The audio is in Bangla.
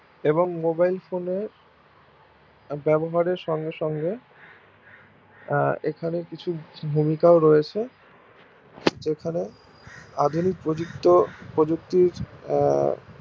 এবং mobilephone এর ব্যবহারের সঙ্গে সঙ্গে আহ এখানে কিছু ভূমিকাও রয়েছে যেখানে আধুনিক প্রযুক্ত প্রযুক্তির